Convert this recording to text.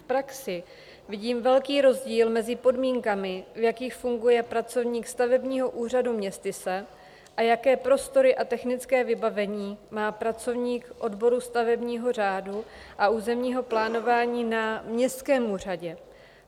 V praxi vidím velký rozdíl mezi podmínkami, v jakých funguje pracovník stavebního úřadu městyse, a jaké prostory a technické vybavení má pracovník odboru stavebního řádu a územního plánování na městském úřadě.